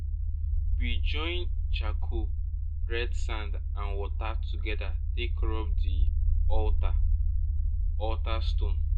we join charcoal red sand and water together take rub the altar altar stone.